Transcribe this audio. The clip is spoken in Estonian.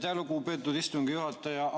Aitäh, lugupeetud istungi juhataja!